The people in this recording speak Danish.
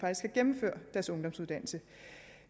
gennemføre deres ungdomsuddannelse